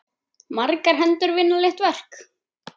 Margar hendur vinna létt verk!